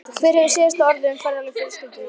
Hver hefur síðasta orðið um ferðalög fjölskyldunnar?